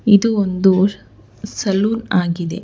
ಇದು ಒಂದು ಸ್ ಸಲೂನ್ ಆಗಿದೆ.